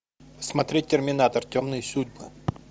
смотреть терминатор темные судьбы